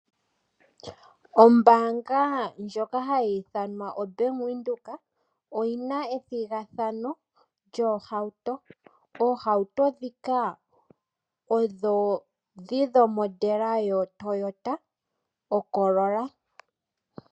Ombaanga ndjoka hayi ithanwa Ombaanga ya Venduka oyina ethigathano lyoohauto. Oohauto dhi dhomodela yo Toyota oCorolla.